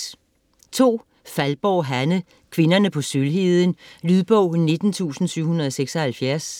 Faldborg, Hanne: Kvinderne på Sølvheden Lydbog 19776